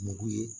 Mugu ye